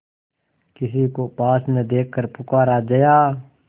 किसी को पास न देखकर पुकारा जया